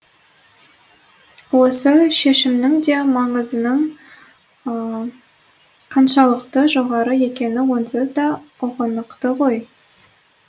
осы шешімнің де маңызының қаншалықты жоғары екені онсыз да ұғынықты ғой